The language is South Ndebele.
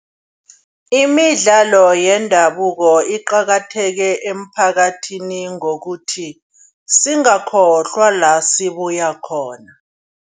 Imidlalo yendabuko iqakathekile emiphakathini. Ngokuthi singayikhohlwa la sibuya khona.